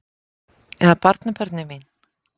Eða barnabörnin mín?